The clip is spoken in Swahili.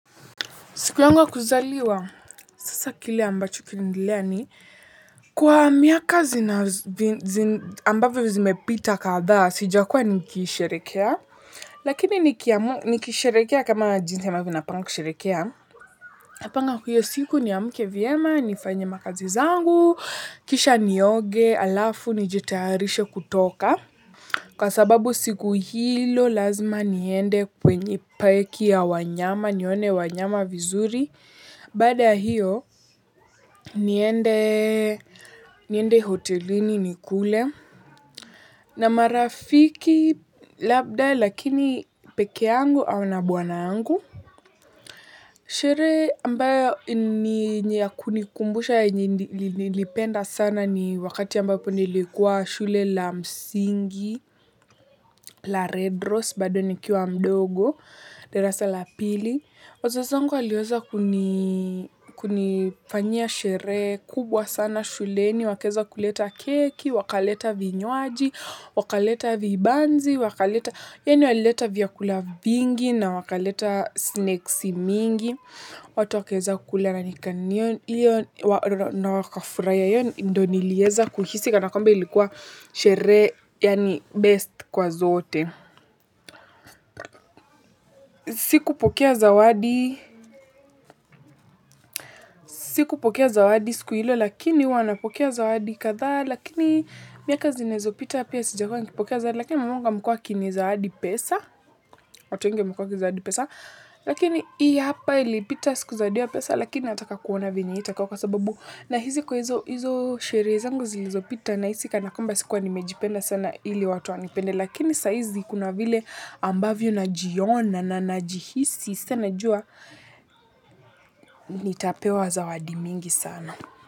Siku yangu ya kuzaliwa, sasa kile ambacho kilinitendea ni kwa miaka zile ambazo zimepita kadhaa, sijakuwa nikisherehekea. Lakini nikisherehekea kama ninavyopanga kusherehekea. Napanga hiyo siku niamke vyema, nifanye kazi zangu, kisha nioge, halafu nijitayarishe kutoka. Kwa sababu siku hiyo lazima niende kwenye park ya wanyama, niwaone wanyama vizuri. Baada ya hiyo niende hotelini nikule na marafiki labda, lakini peke yangu au na bwana wangu. Sherehe ambayo ni ya kunikumbusha niliyoipenda sana ni wakati ambapo nilikuwa shule ya msingi ya Red Rose bado nikiwa mdogo darasa la pili. Wazazi wangu waliweza kunifanyia sherehe kubwa sana shuleni, wakaleta keki, wakaleta vinywaji, wakaleta vibanzi, wakaleta, yaani walileta vyakula vingi na wakaleta snacks nyingi. Watu wakaweza kula na wakafurahia. Hiyo ndiyo niliweza kuhisi kana kwamba ilikuwa sherehe yaani best kwa zote. Sikupokea zawadi, siku ya kupokea zawadi siku hiyo, lakini huwa napokea zawadi kadha, lakini miaka zinazopita pia sijakuwa nikipokea zawadi, lakini mama yangu amekuwa akinizawadi pesa, hata ninge akiwa kununua zawadi ya pesa, lakini hii hapa ilipita siku zawadi ya pesa, lakini anataka kuona vinginevyo kwa sababu na hizi kwa hizo sherehe zangu zilizopita, nahisi zinanikumbusha sikuwa nimejipenda sana ili watu wanipende, lakini sasa kuna vile ambavyo najiona na najisikia sana vizuri. Nitapewa zawadi mingi sana.